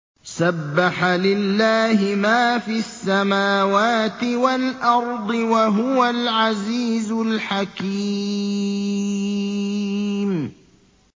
سَبَّحَ لِلَّهِ مَا فِي السَّمَاوَاتِ وَالْأَرْضِ ۖ وَهُوَ الْعَزِيزُ الْحَكِيمُ